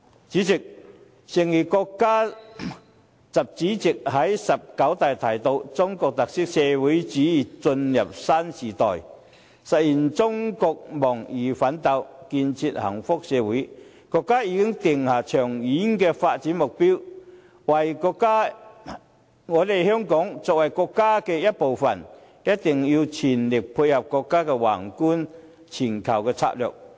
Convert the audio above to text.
主席，誠如國家主席習近平在"十九大"提到，"中國特色社會主義進入新時代，實現中國夢奮鬥，建設幸福社會"，國家已經定下長遠的發展目標，香港作為國家的一部分，一定要全力配合國家宏觀的全球策略。